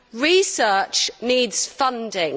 Research needs funding